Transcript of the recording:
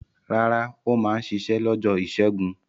Rárá, ó máa ń ṣiṣẹ́ lọ́jọ́ ìṣẹ́gun.